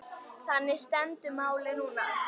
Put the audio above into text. Þannig stendur málið núna.